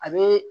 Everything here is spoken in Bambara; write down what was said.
A bee